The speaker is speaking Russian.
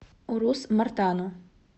урус мартану